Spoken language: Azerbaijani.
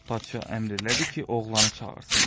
Padşah əmr elədi ki, oğlanı çağırsınlar.